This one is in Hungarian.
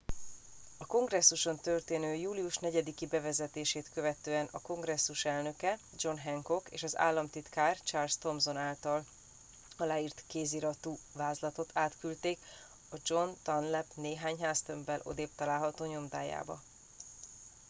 a kongresszuson történő július 4 i bevezetését követően a kongresszus elnöke john hancock és az államtitkár charles thomson által aláírt kéziratú vázlatot átküldték a john dunlap néhány háztömbbel odébb található nyomdájába